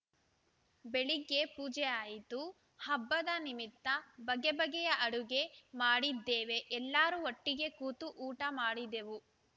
ಬೆಳಿಗ್ಗೆ ಪೂಜೆ ಆಯಿತು ಹಬ್ಬದ ನಿಮಿತ್ತ ಬಗೆ ಬಗೆಯ ಅಡುಗೆ ಮಾಡಿದ್ದೇವೆ ಎಲ್ಲರೂ ಒಟ್ಟಿಗೆ ಕೂತು ಊಟ ಮಾಡಿದೆವು